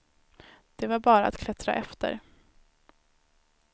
Det var bara att klättra efter.